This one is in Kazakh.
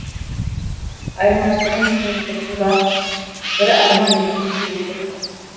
айырмашылығын түсініп тұрсың ба бірі арман екіншісі өтірік